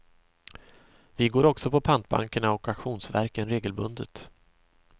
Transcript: Vi går också på pantbankerna och auktionsverken regelbundet.